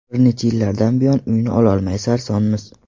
Bir necha yillardan buyon uyni ololmay sarsonmiz.